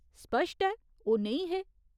सप्श्ट ऐ ओह् नेईं हे।